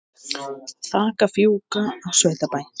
Þak að fjúka á sveitabæ